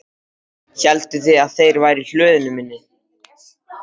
Hélduð þið að þeir væru í hlöðunni minni?